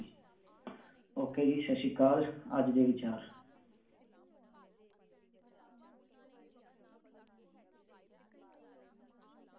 Okay ਜੀ ਸਤਿ ਸ਼੍ਰੀ ਅਕਾਲ ਅੱਜ ਦੇ ਵਿਚਾਰ